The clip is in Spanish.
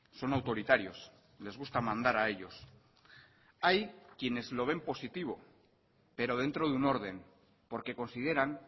son autoritarios les gusta mandar a ellos hay quienes lo ven positivo pero dentro de un orden porque consideran